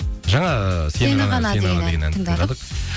жаңа ы сені ғана деген әнді тыңдадық